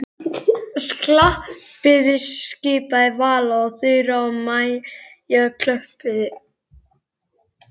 Klappiði skipaði Vala og Þura og Maja klöppuðu.